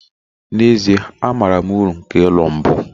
na ezie, amaara m uru nke ụlọ mbu